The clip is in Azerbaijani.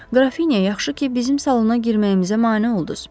Qrafinya, yaxşı ki, bizim salona girməyimizə mane olduz.